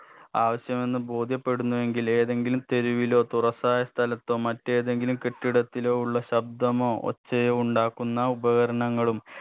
ആവശ്യമെന്ന് ബോധ്യപ്പെടുന്നുവെങ്കിൽ ഏതെങ്കിലും തെരുവിലോ തുറസ്സായ സ്ഥലത്തോ മറ്റേതെങ്കിലും കെട്ടിടത്തിന്റെ ഉള്ള ശബ്ദമോ ഒച്ചയോ ഉണ്ടാക്കുന്ന ഉപകരണങ്ങളും